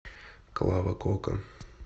клава кока